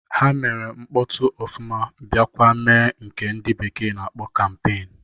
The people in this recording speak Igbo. Ha mere mkpọtụ ofụma bịakwa mee nke ndị bekee na-akpọ kampeen